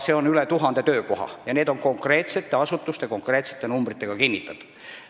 Seal on üle 1000 töökoha, mis on konkreetsete asutuste ja konkreetsete numbritega kinnitatud.